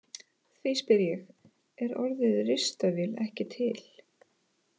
Því spyr ég: Er orðið ristavél ekki til?